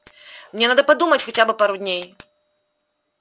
мне надо подумать хотя бы пару дней